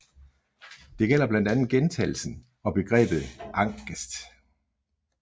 Det gælder blandt andet Gjentagelsen og Begrebet Angest